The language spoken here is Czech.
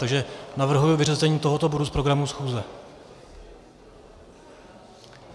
Takže navrhuji vyřazení tohoto bodu z programu schůze.